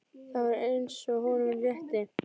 Það var eins og honum létti.